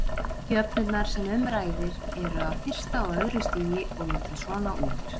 Jöfnurnar sem um ræðir eru af fyrsta og öðru stigi og líta svona út: